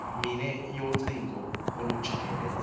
mine yocingo olujikeleze